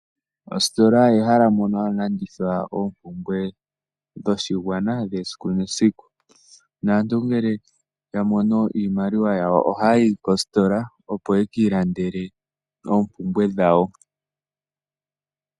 Ositola ehala mono hamu landithwa oompumbwe dhoshigwana dhediku nesiku. Aantu ngele ya mono iimaliwa yawo ohaya yi kositola, opo yekiilandele oompumbwe dhawo.